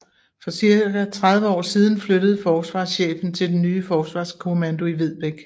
For godt 30 år siden flyttede Forsvarschefen til den nye Forsvarskommando i Vedbæk